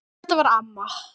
Þetta var amma.